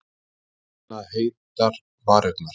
Finna heitar varirnar.